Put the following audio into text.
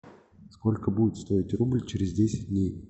сколько будет стоить рубль через десять дней